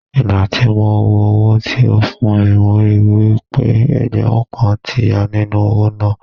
Ìgbà tí mo wo owó tí ó fún mi mo ríi wí pé ẹgbẹ̀rún kan ti ya nínú owó náà.